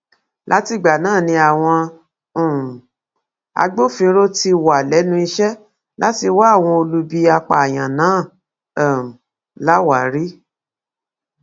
látìgbà náà ni àwọn um agbófinró ti wà lẹnu iṣẹ láti wá àwọn olubi apààyàn náà um láwárí